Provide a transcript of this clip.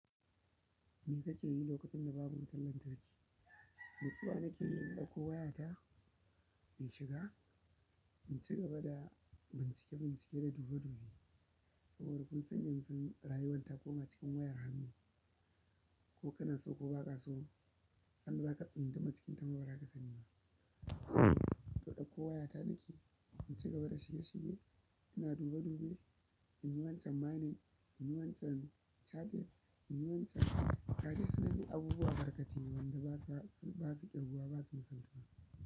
Me kake yi lokacin da babu wutar lantarki? Natsuwa na ke yi in ɗauko wayata, in shiga, in ci gaba da bincike-bincike da dube-dube. Saboda kun san yanzu rayuwar ta koma cikin wayar hannu. Ko kana so ko ba ka so, san da daka tsunduma cikin ta ma baraka sani ba. To ɗauko wayata nake, in ci gaba da shige-shige, ina dube-dube, in yi wancan mining, in yi wancan charging, in yi wancan, ga dai sunan dai abubuwa barkate wanda basa, ba su ƙirguwa, ba su musaltuwa.